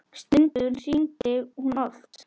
Stundum hringdi hún oft.